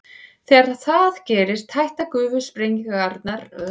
Þegar það gerist hætta gufusprengingarnar að mestu og hraun tekur að flæða úr gosopinu.